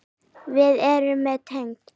Við erum öll tengd.